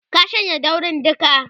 ka shanye daurin duka!